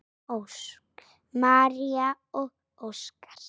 María og Óskar.